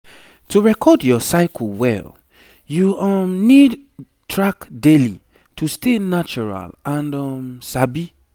to record your cycle well you um need track daily to stay natural and um sabi